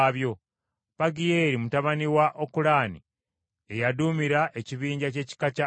Pagiyeeri mutabani wa Okulaani ye yaduumira ekibinja ky’ekika kya Aseri;